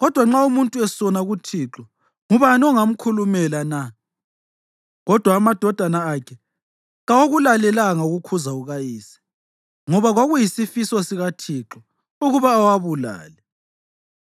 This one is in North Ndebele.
kodwa nxa umuntu esona kuThixo, ngubani ongamkhulumela na?” Kodwa amadodana akhe kawakulalelanga ukukhuza kukayise, ngoba kwakuyisifiso sikaThixo ukuba awabulale.